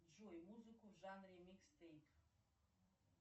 джой музыку в жанре микстейп